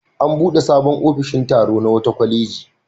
An buɗe sabon ofishin tsaro na wata kwaleji.